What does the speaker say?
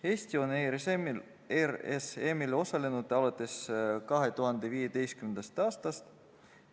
Eesti on RSM-il osalenud alates 2015. aastast.